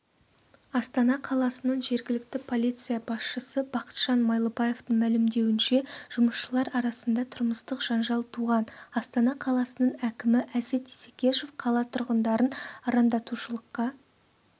астана қаласының жергілікті полиция басшысы бақытжан майлыбаевтың мәлімдеуінше жұмысшылар арасында тұрмыстық жанжал туған астана қаласының әкімі әсет исекешев қала тұрғындарын арандатушылыққа